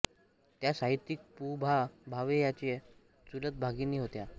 त्या साहित्यिक पु भा भावे यांच्या चुलत भगिनी होत